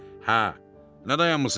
Hə, nə dayanmısınız?